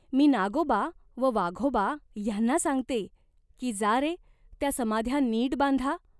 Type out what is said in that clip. मी नागोबा व वाघोबा ह्यांना सांगते, की जा रे त्या समाध्या नीट बांधा.